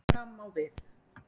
Gæði fram á við